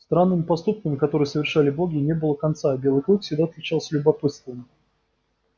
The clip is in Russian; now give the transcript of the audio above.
странным поступкам которые совершали боги не было конца а белый клык всегда отличался любопытством